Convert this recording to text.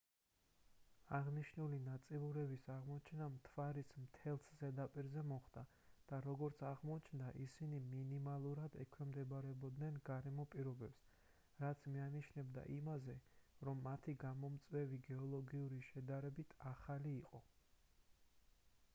აღნიშნული ნაწიბურების აღმოჩენა მთვარის მთელს ზედაპირზე მოხდა და როგორც აღმოჩნდა ისინი მინიმალურად ექვემდებარებოდნენ გარემო პირობებს რაც მიანიშნებდა იმაზე რომ მათი გამომწვევი გეოლოგიური შედარებით ახალი იყო